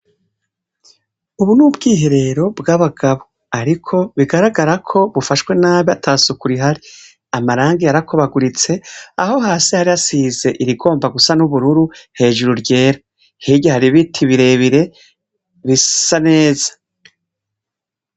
Ubu n’ubwiherero bw’abagabo, ariko bigaragara ko bufashwe nabi atasuku rihari, amarangi yarakobaguritse , aho hasi hari hasize irigomba gusa n’ubururu hejuru ryera, hirya har’ibiti birebire bisa neza.